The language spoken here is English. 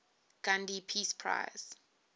gandhi peace prize